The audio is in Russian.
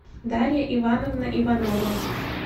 дарья ивановна иванова